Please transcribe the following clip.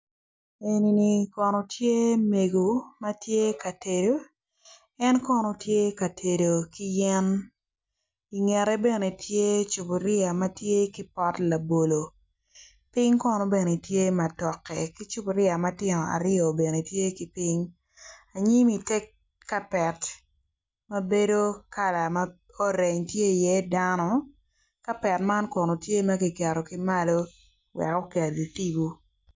Enini kono tye mego matye ka tedo en kono tye ka tedo ki yen i ngete bene tye cupuria matye ki pot labolo ping kono bene tye ma toke ki cupuria bene aryo tye ki ping anyim i ter kapet mabedo kala ma orange tye i ye dano kapet man kono tye makigero kimalo wek okelgi tipo.